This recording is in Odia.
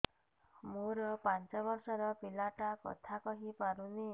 ମୋର ପାଞ୍ଚ ଵର୍ଷ ର ପିଲା ଟା କଥା କହି ପାରୁନି